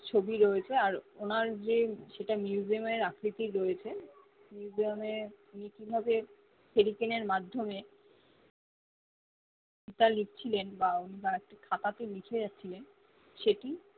ছবি রয়েছে ওনার যে সেটা museum এ আকৃতির রয়েছে museum উনি কি ভাবে হেরিকেন মাধ্যমে তা লিখছিলেন বা বার খাতাতে লিখে রাখছিলেন সেটি